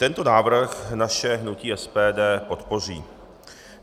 Tento návrh naše hnutí SPD podpoří.